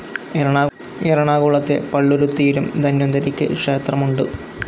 എറണാകുളത്തെ പള്ളുരുത്തിയിലും ധന്വന്തരിക്ക് ക്ഷേത്രമുണ്ട്.